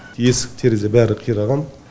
есік терезе бәрі қираған